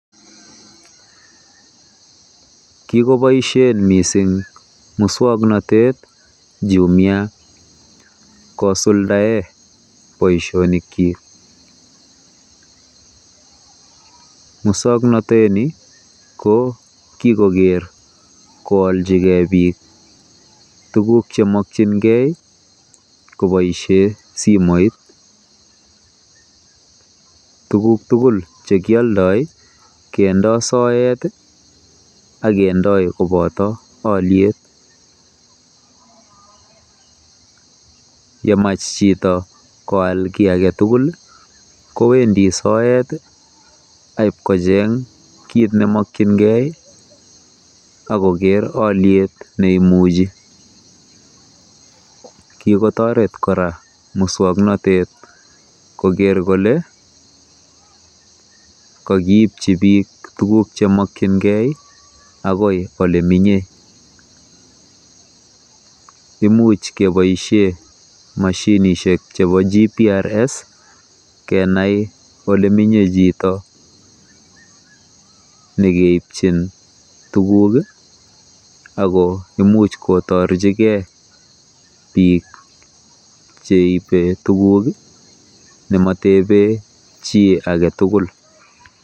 Kikoboisien missing muswong'notet jumia, kosuldaen boisionikyik, muswong'notoni ko kikoger kooljigen biik tuguk chemokyingen koboisien simoit, tuguk tugul chekioldoi kindoi soet i ak kendoi koboto olyet, yemach chito koal kii agetugul ii kowendi soet ii kobagocheng' kiit nemokyingen, akoker olyet neimuchi, kikotoret kora muswong'notet koger kole kokiibji biik tuguk chemokyingen agoi olemenye, imuch keboisien moshinisiek chebo GBRS kenai olemenye chito, negeibjin tuguk ako imuch kotorjigee biik cheibe tuguk ii nemotebe chii agetugul.